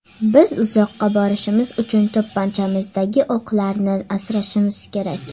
Biz uzoqqa borishimiz uchun to‘pponchamizdagi o‘qlarni asrashimiz kerak.